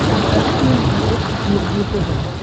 покажи мне на смотрешке синергия тв